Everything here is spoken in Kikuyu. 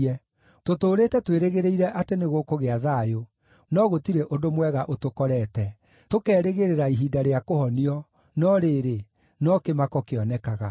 Tũtũũrĩte twĩrĩgĩrĩire atĩ nĩgũkũgĩa thayũ, no gũtirĩ ũndũ mwega ũtũkorete, tũkerĩgĩrĩra ihinda rĩa kũhonio, no rĩrĩ, no kĩmako kĩonekaga.